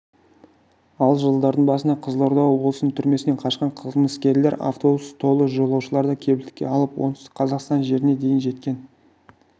ал жылдардың басында қызылорда облысының түрмесінен қашқан қылмыскерлер автобус толы жолаушыларды кепілдікке алып оңтүстік қазақстан жеріне дейін жеткен